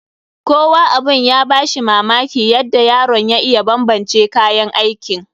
Kowa abun ya ba shi mamaki yadda yaron ya iya banbance kayan aikin.